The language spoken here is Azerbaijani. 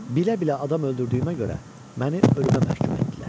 Bilə-bilə adam öldürdüyümə görə məni ölümə məhkum etdilər.